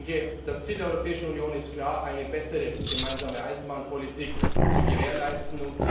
Ich denke, das Ziel der Europäischen Union ist klar eine bessere gemeinsame Eisenbahnpolitik zu gewährleisten.